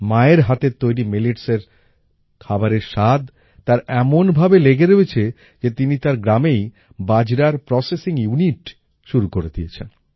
মায়ের হাতের তৈরি milletsএর খাবারের স্বাদ তার এমনভাবে লেগে রয়েছে যে তিনি তার গ্রামেই বাজরার প্রসেসিং ইউনিট শুরু করে দিয়েছেন